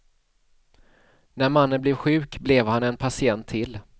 När mannen blev sjuk, blev han en patient till.